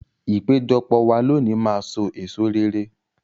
Ìpéjọpọ̀ wa lónìí máa so èso rere.